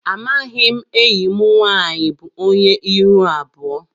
Amaghị enyị mụ nwaanyị bụ ónyé ịhụ abụọ.